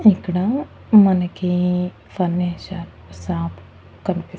ఇక్కడ మనకి furniture shop కనిపిస్--